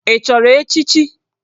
Ị chọrọ echichi?